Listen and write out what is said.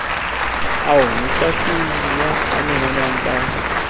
ao mohlahlobuwa a nehelaneng ka